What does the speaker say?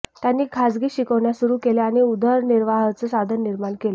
त्यांनी खाजगी शिकवण्या सुरू केल्या आणि उदरनिर्वाहाचं साधन निर्माण केलं